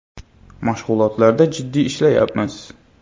Mashg‘ulotlarda jiddiy ishlayapmiz.